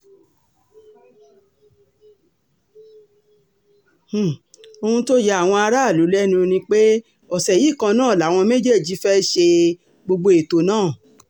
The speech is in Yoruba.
um ohun tó ya àwọn aráàlú lẹ́nu ni pé ọ̀sẹ̀ yìí kan náà làwọn méjèèjì fẹ́ẹ́ ṣe um gbogbo ètò náà